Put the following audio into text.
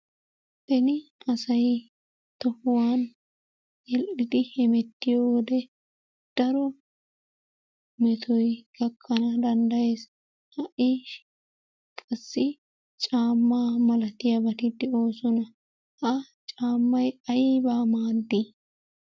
Beni asay tohuwan yedhdhidi hemettiyo wode daro metoy gakkana danddayees. Ha"i qassi caammaa malatiyabati de'oosona. Ha caammay aybaa maaddi?